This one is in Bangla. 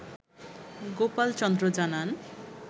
গোপাল চন্দ্র জানান